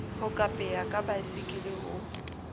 ho kapea ka baesekele ho